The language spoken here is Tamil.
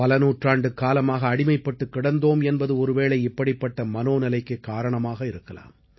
பல நூற்றாண்டு காலமாக அடிமைப்பட்டுக் கிடந்தோம் என்பது ஒருவேளை இப்படிப்பட்ட மனோநிலைக்குக் காரணமாக இருக்கலாம்